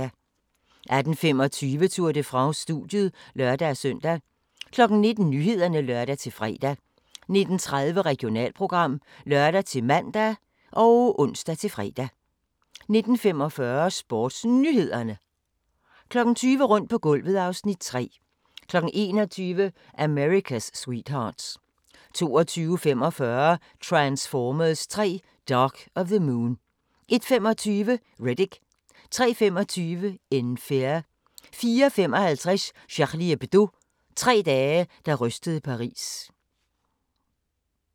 18:25: Tour de France: Studiet (lør-søn) 19:00: Nyhederne (lør-fre) 19:30: Regionalprogram (lør-man og ons-fre) 19:45: SportsNyhederne 20:00: Rundt på gulvet (Afs. 3) 21:00: America's Sweethearts 22:45: Transformers 3: Dark of the Moon 01:25: Riddick 03:25: In Fear 04:55: Charlie Hebdo - tre dage, der rystede Paris